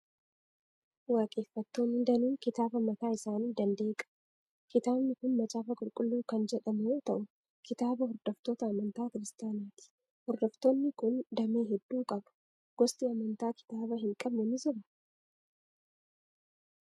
Waaqeffattoonni danuun kitaaba mataa isaanii danda'e qabu. Kitaabni kun Macaafa Qulqulluu kan jefhamu yoo ta'u, kitaaba hordoftoota amantaa Kiristaanaa ti. Hordoftoonni kun damee hedduu qabu. Gosti amantaa kitaaba hin qabne ni jiraa?